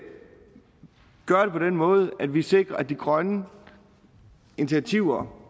gøre det på den måde at vi sikrer at de grønne initiativer